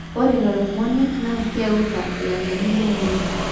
ore lelo moniek naa keutaa ilangeni lemurrua